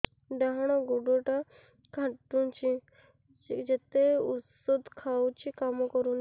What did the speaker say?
ଡାହାଣ ଗୁଡ଼ ଟା ଖାନ୍ଚୁଚି ଯେତେ ଉଷ୍ଧ ଖାଉଛି କାମ କରୁନି